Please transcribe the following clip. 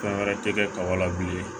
Fɛn wɛrɛ tɛ kɛ kaba la bilen